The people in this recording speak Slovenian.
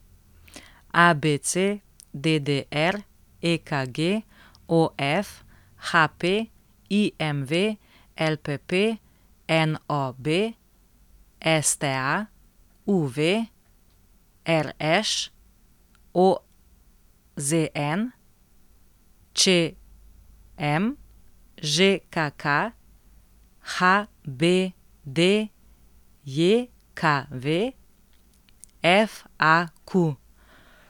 ABC, DDR, EKG, OF, HP, IMV, LPP, NOB, STA, UV, RŠ, OZN, ČM, ŽKK, HBDJKV, FAQ.